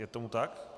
Je tomu tak.